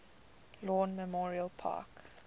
lawn memorial park